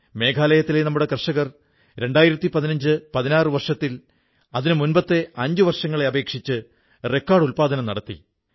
മേഘാലയയിലെ നമ്മുടെ കർഷകർ 201516 വർഷത്തിൽ അതിനുമുമ്പത്തെ അഞ്ചു വർഷങ്ങളെ അപേക്ഷിച്ച് റെക്കോഡ് ഉത്പാദനം നടത്തി